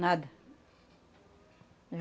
Nada.